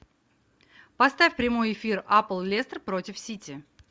поставь прямой эфир апл лестер против сити